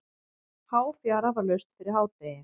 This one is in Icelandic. Háfjara var laust fyrir hádegi.